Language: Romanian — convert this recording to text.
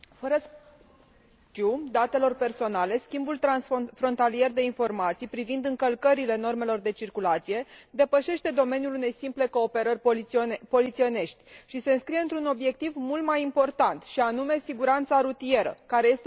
Schimbul transfrontalier de informații privind încălcările normelor de circulație depășește domeniul unei simple cooperări polițienești și se înscrie într un obiectiv mult mai important, și anume siguranța rutieră, care este o prioritate politică a Parlamentului European.